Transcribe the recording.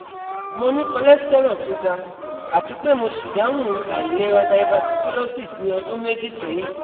Mo ní cholesterol tó ga àti pé mo ṣìdáhùn àìlera diverticulosis ní ọdún méjì séyìn